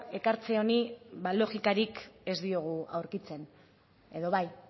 ekartze honi ba logikarik ez diogu aurkitzen edo bai